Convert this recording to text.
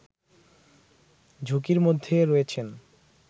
ঝুঁকির মধ্যে রয়েছেন